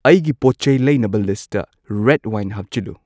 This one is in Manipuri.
ꯑꯩꯒꯤ ꯄꯣꯠ ꯆꯩ ꯂꯩꯅꯕ ꯂꯤꯁꯇ ꯔꯦꯗ ꯋꯥꯏꯟ ꯍꯥꯞꯆꯤꯜꯂꯨ